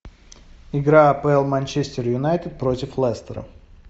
игра апл манчестер юнайтед против лестера